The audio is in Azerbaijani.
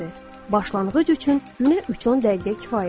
Başlanğıc üçün, günə üç-on dəqiqə kifayətdir.